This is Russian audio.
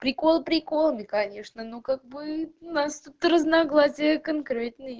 приколы приколами конечно ну как бы у нас тут разногласия конкретные